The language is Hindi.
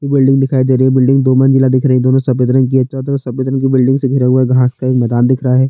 बिल्डिंग दिखाई दे रही है बिल्डिंग दो मंजिला दिख रही है दोनों सफ़ेद रंग की है चारो तरफ सफ़ेद रंग से भरे हुए घाँस का मैदान दिख रहा है।